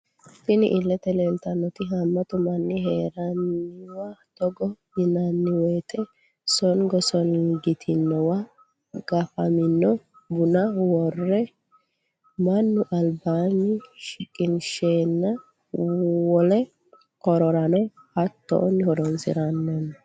Tini ilette leleitanotti hamatu mani heraniwo togo yinaniwoyite songgo songgantinowa gafamino buna worre manu alibani shiqqinshshanite wolle hororano hattoni horonisinanni.